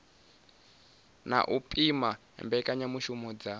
na u pima mbekanyamishumo dza